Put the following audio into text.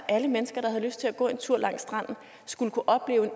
at alle mennesker der har lyst til at gå en tur langs stranden skal kunne opleve